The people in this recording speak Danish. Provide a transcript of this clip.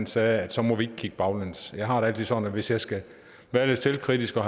sagde at så må vi ikke kigge baglæns jeg har det altid sådan hvis jeg skal være lidt selvkritisk når